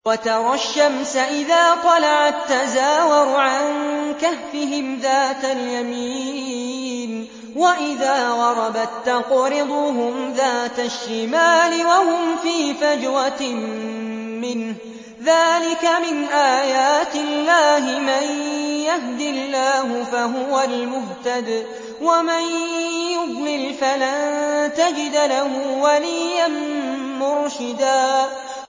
۞ وَتَرَى الشَّمْسَ إِذَا طَلَعَت تَّزَاوَرُ عَن كَهْفِهِمْ ذَاتَ الْيَمِينِ وَإِذَا غَرَبَت تَّقْرِضُهُمْ ذَاتَ الشِّمَالِ وَهُمْ فِي فَجْوَةٍ مِّنْهُ ۚ ذَٰلِكَ مِنْ آيَاتِ اللَّهِ ۗ مَن يَهْدِ اللَّهُ فَهُوَ الْمُهْتَدِ ۖ وَمَن يُضْلِلْ فَلَن تَجِدَ لَهُ وَلِيًّا مُّرْشِدًا